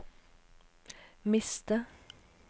miste